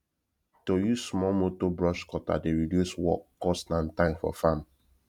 to use small motor brush cutter dey reduce work cost and time for farm